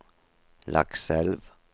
Lakselv